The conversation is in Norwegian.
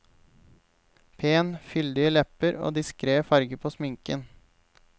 Pen, fyldige lepper og diskret farge på sminken.